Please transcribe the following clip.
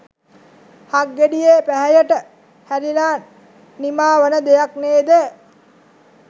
හක්ගෙඩියේ පැහැයට හැරිල නිමා වන දෙයක් නේද?